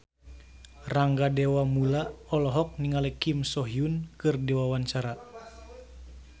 Rangga Dewamoela olohok ningali Kim So Hyun keur diwawancara